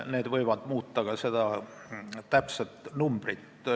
Need võivad seda täpset numbrit muuta.